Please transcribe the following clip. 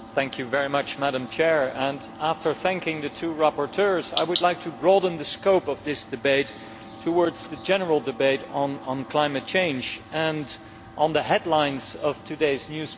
Madam President, after thanking the two rapporteurs, I would like to broaden the scope of this debate towards the general debate on climate change, and the headlines in today's newspapers.